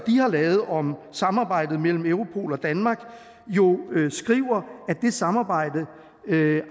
har lavet om samarbejdet mellem europol og danmark jo skriver at det samarbejde